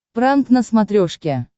пранк на смотрешке